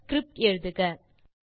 script எழுதுக